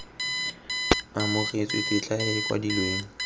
amogetswe tetla e e kwadilweng